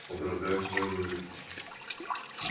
о дорогая что я говорю